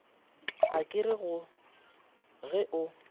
a ka re ge o